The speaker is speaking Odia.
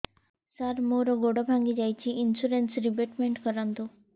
ସାର ମୋର ଗୋଡ ଭାଙ୍ଗି ଯାଇଛି ଇନ୍ସୁରେନ୍ସ ରିବେଟମେଣ୍ଟ କରୁନ୍ତୁ